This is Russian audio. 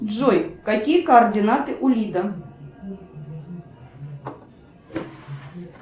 джой какие координаты у лида